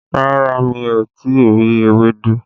Rárá, mi ò tí ì rí ewédú